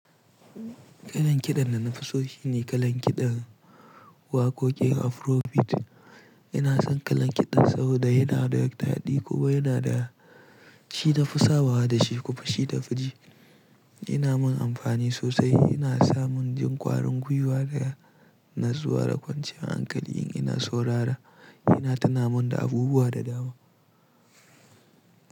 Kalan kiɗan da na fi so shi ne kalan kiɗan waƙoƙin Afrobeat. Ina son kalan kiɗan saboda yana da yawa taɗi kuma yana da shi na fi sabawa da shi kuma shi da nafi ji. Yana min amfani sosai, yana sa min jin ƙwarin guiwa ga na zuwa da kwanciyan hankali in ina sau rara. Yana tuna min da abubuwa da dama.